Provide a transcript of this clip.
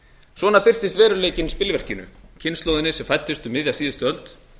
svona birtist veruleikinn spilverkinu kynslóðinni sem fæddist um síðustu öld